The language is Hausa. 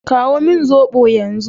Kawo min zobo yanzu.